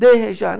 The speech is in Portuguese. Deixa